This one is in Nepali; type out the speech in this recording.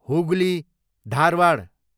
हुगली, धारवाड